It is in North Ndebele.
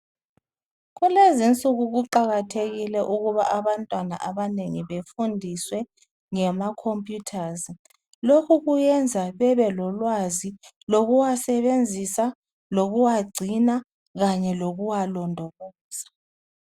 Kulezinsuku kuqakathekile ukuba abantwana abanengi befundiswe ngama computers lokhu kuyenza bebelolwazi wokuwasebenzisa lokuwagcina kanye lokuwalondoloza.